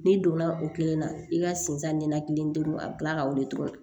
N'i donna o kelen na i ka segin a ɲɛda kelen a bɛ tila ka wili tuguni